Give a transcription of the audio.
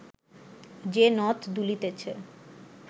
যে নথ দুলিতেছে